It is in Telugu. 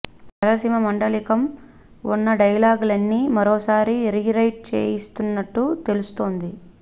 రాయలసీమ మాండలికం ఉన్న డైలాగులన్నీ మరోసారి రీ రైట్ చేయిస్తున్నట్టు తెలుస్తోంది